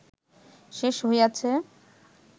শেষ হইয়াছে